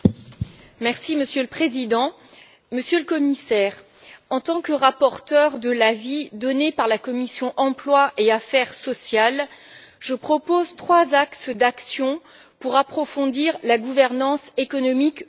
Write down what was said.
Monsieur le Président, Monsieur le Commissaire, en tant que rapporteure de l'avis donné par la commission de l'emploi et des affaires sociales, je propose trois axes d'action pour approfondir la gouvernance économique européenne.